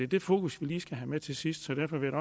det fokus vi lige skal have med til sidst så derfor vil